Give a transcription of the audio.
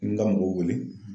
N ka mɔgɔw wele